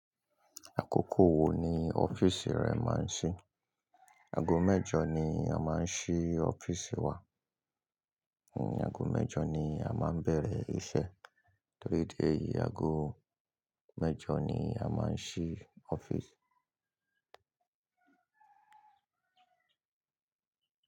Àkókò wo ni ọ́fíìsì rẹ máa ń ṣí? Ago mẹ́jọ ni a máa ń ṣí ọ́fíìsì wa. Ni ago mẹ́jọ ni a máa ń bẹ̀rẹ̀ iṣẹ́. Three day, ago mẹ́jọ ni a máa ń ṣí ọ́fíìsì.